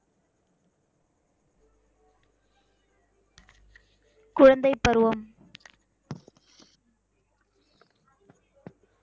குழந்தைப் பருவம்